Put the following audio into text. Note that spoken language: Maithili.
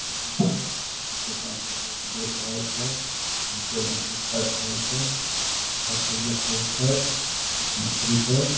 जे की छै चार-पांच गो लोग देख रहल छै इ सब मछली काट रहल छै हासु रखल छै मछली छै।